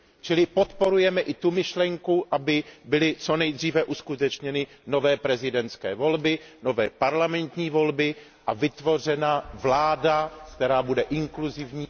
Čili podporujeme i tu myšlenku, aby byly co nejdříve uskutečněny nové prezidentské volby, nové parlamentní volby a vytvořena vláda, která bude inkluzivní...